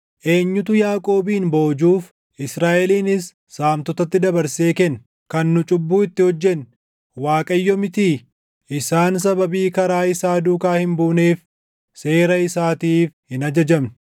Eenyutu Yaaqoobin boojuuf, Israaʼelinis saamtotatti dabarsee kenne? Kan nu cubbuu itti hojjenne, Waaqayyo mitii? Isaan sababii karaa isaa duukaa hin buuneef, seera isaatiif hin ajajamne.